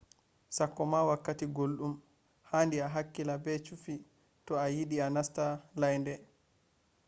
sakkoma wakkati guldum handi a hakkila be chufi to a yidi a nasta laynde